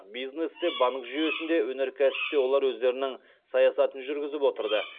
бизнесте банк жүйесінде өнеркәсіпте олар өздерінің саясатын жүргізіп отырды